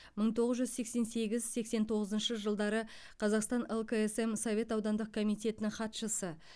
мың тоғыз жүз сексен сегіз сексен тоғызыншы жылдары қазақстан лксм совет аудандық комитетінің хатшысы